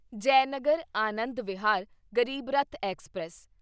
Jaynagar Anand Vihar Garib Rath express